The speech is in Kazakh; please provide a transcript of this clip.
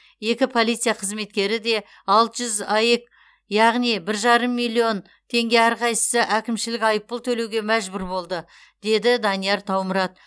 екі полиция қызметкері де алты жүз аек яғни бір жарым миллион теңге әрқайсысы әкімшілік айыппұл төлеуге мәжбүр болды деді данияр таумұрат